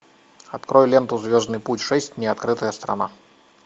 открой ленту звездный путь шесть неоткрытая страна